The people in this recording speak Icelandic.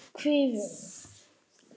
Karen: Ertu kvíðinn?